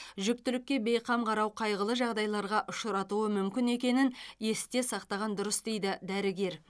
жүктілікке бейқам қарау қайғылы жағдайларға ұшыратуы мүмкін екенін есте сақтаған дұрыс дейді дәрігер